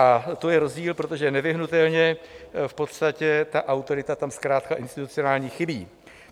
A to je rozdíl, protože nevyhnutelně v podstatě ta autorita tam zkrátka institucionální chybí.